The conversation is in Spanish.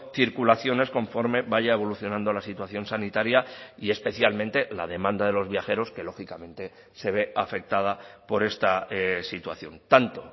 circulaciones conforme vaya evolucionando la situación sanitaria y especialmente la demanda de los viajeros que lógicamente se ve afectada por esta situación tanto